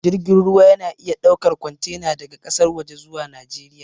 Jirgin ruwa ya na iya ɗaukan kwantena daga ƙasar waje zuwa najeriya